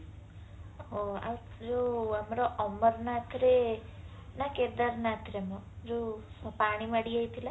ହାଉ ଆଉ ଯୋଉ ଆମର ଅମରନାଥ ରେ ନା କେଦାରନାଥରେ ମ ଯୋଉ ପାଣି ମାଡି ଯାଇଥିଲା